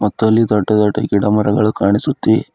ಮತ್ತು ಅಲ್ಲಿ ದೊಡ್ಡ ದೊಡ್ಡ ಗಿಡ ಮರಗಳು ಕಾಣಿಸುತ್ತಿವೆ.